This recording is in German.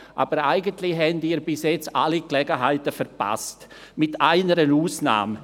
Aber eigentlich haben Sie bisher alle Gelegenheiten verpasst – mit einer Ausnahme: